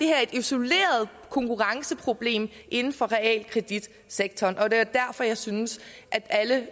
her er et isoleret konkurrenceproblem inden for realkreditsektoren og det var derfor jeg syntes at alle